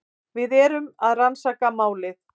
Við erum að rannsaka málið.